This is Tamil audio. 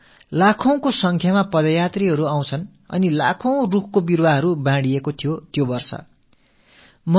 வந்த பல இலட்சக்கணக்கான பாதயாத்திரிகளுக்கும் அந்த ஆண்டு பல இலட்சம் மரக்கன்றுகளை அளித்தார்கள்